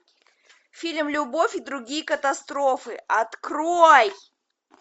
фильм любовь и другие катастрофы открой